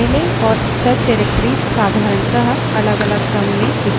files और subdirectories साधारणतः अलगअलग रंग में दिखते हैं